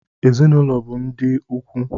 Ezinụlọ bụ ndị ikwu